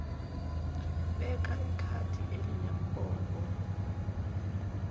beka ikhadi elinembobo